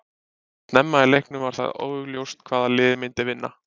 Snemma í leiknum var það augljóst hvaða lið myndi vinna.